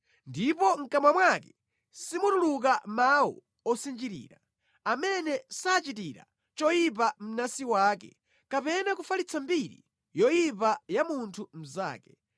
ndipo mʼkamwa mwake simutuluka mawu osinjirira, amene sachitira choyipa mnansi wake kapena kufalitsa mbiri yoyipa ya munthu mnzake,